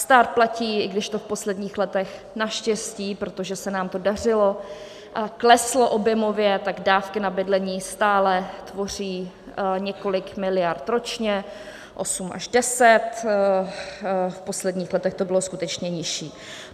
Stát platí, i když to v posledních letech naštěstí, protože se nám to dařilo, kleslo objemově, tak dávky na bydlení stále tvoří několik miliard ročně, 8 a 10, v posledních letech to bylo skutečně nižší.